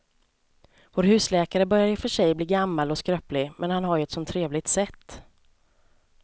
Vår husläkare börjar i och för sig bli gammal och skröplig, men han har ju ett sådant trevligt sätt!